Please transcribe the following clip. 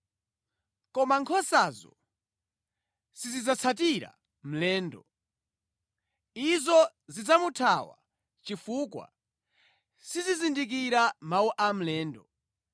Koma nkhosazo sizidzatsatira mlendo. Izo zidzamuthawa chifukwa sizizindikira mawu a mlendo.”